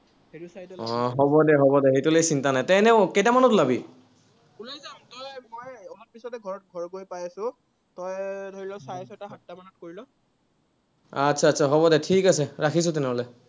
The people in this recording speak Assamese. আহ হ'ব দে হ'ব দে। সেইটোলৈ চিন্তা নাই। তই এনেও কেইটামানত ওলাবি হ'ব দে, ঠিক আছে, ৰাখিছো তেনেহ'লে।